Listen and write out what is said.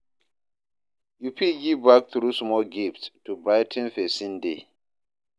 Yu fit give back thru small gifts to brigh ten pesin day.